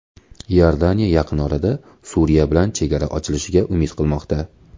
Iordaniya yaqin orada Suriya bilan chegara ochilishiga umid qilmoqda.